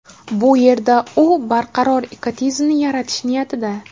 Bu yerda u barqaror ekotizimni yaratish niyatida.